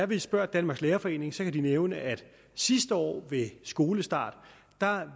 vi spørger danmarks lærerforening kan de nævne at sidste år ved skolestart